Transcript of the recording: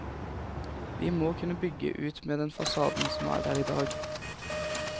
Vi må kunne bygge ut med den fasaden som er der i dag.